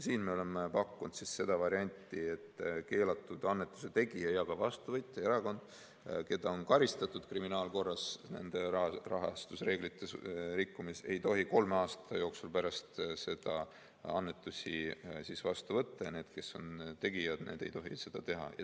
Siin me oleme välja pakkunud selle variandi, et keelatud annetuse tegija ja selle annetuse vastu võtnud erakond, keda on kriminaalkorras karistatud nende rahastusreeglite rikkumise eest, ei tohi kolme aasta jooksul pärast seda annetusi vastu võtta ja annetuse tegijad ei tohi annetusi teha.